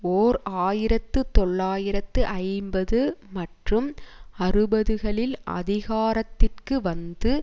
ஓர் ஆயிரத்து தொள்ளாயிரத்து ஐம்பது மற்றும் அறுபதுகளில் அதிகாரத்திற்கு வந்து